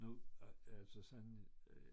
Nu altså sådan